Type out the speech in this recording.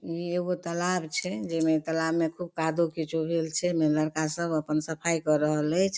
इ एगो तालाब छे जेमे तालाब में खूब कादो किचो छे में लड़का सब अपन सफाई क रहलेच।